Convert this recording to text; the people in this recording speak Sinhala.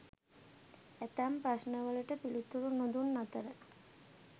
ඇතැම් ප්‍රශ්නවලට පිළිතුරු නොදුන් අතර